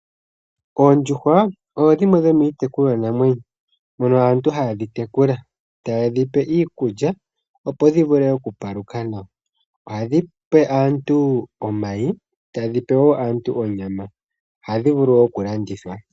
Oondjuhwa odho dhimwe dhomiitekulwa namwenyo ndhono aantu haye dhi tekula, taye dhi pe iikulya opo dhi vulu oku paluka nawa. Ohadhi pe aantu omayi tadhi pe yoo aantu onyama, ohadhi vulu wo okulandithwa.